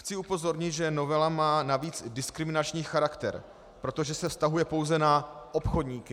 Chci upozornit, že novela má navíc diskriminační charakter, protože se vztahuje pouze na obchodníky.